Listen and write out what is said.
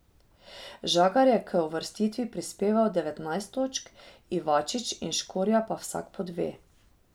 Žagar je k uvrstitvi prispeval devetnajst točk, Ivačič in Škorja pa vsak po dve.